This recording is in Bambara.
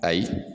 Ayi